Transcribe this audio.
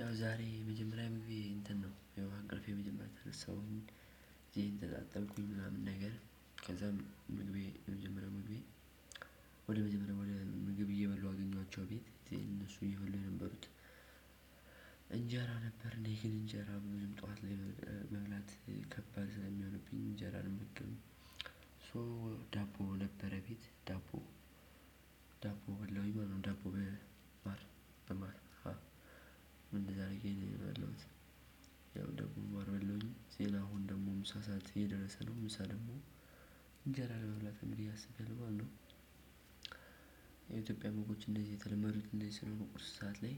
ያው ዛሬ መጀመሪያ ሙቪ እንትን ነው ከእንቅልፌ መጀመሪያ ተነሳሁኝ። እጄን ተጣጠብኩኝ ምናምን ነገር። ከዛም ምግቤ የመጀመሪያው ምግቤ። ወደ መጀመሪያው ወደ ምግብ እየበላው አገኟቸው ቤት እነሱ እየበሉ የነበሩት እንጀራ ነበር። እና ይሄን እንጀራ ምንም ጠዋት ላይ መብላት ከባድ ስለሚሆንብኝ እንጀራ አልመገብም። ሶ ዳቦ ነበረ። ቤት ዳቦ። ዳቦ በላዉኝ ምንም ዳቦ በማር በማር ምን እንደዛ አድርጌ ነው የበላዉት። ያው ዳቦ በማር በላውኝ ሲል አሁን ደግሞ ምሳ ሰዓት እየደረሰ ነው። ምሳ ደግሞ እንጀራ ለመብላት እንዲህ አስቤ አለው ማለት ነው። የኢትዮጵያ ምግቦች እንደዚህ የተለመደ እነዚህ ስለሆነ ቁርስ ሰዓት ላይ።